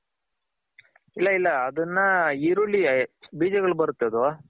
ಇಲ್ಲ ಇಲ್ಲ ಅದನ್ನ ಈರುಳ್ಳಿ ಬೀಜಗಳ್ ಬರುತ್ತ್ ಅದು.